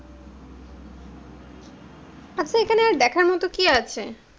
আচ্ছা এখানে আর দেখার মতো কি আছে?